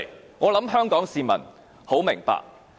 我相信香港市民很明白。